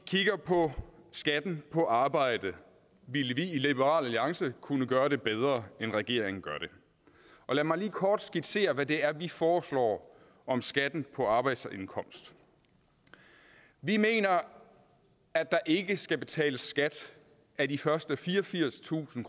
kigger på skatten på arbejde ville vi i liberal alliance kunne gøre det bedre end regeringen gør det lad mig lige kort skitsere hvad det er vi foreslår om skatten på arbejdsindkomst vi mener at der ikke skal betales skat af de første fireogfirstusind